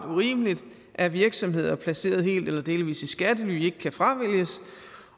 urimeligt at virksomheder placeret helt eller delvis i skattely ikke kan fravælges